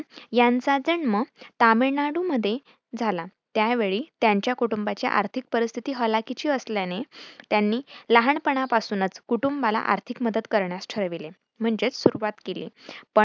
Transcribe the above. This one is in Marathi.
यांचा जन्म तामिळनाडू मध्ये झाला त्यावेळी त्यांच्या कुटूंबाची आर्थिक परिस्थिती हालाखीची असल्याने त्यांनी लहानपणापासूनच कुटूंबाला आर्थिक मदत करण्यास ठरविले म्हणजेच सुरुवात केली.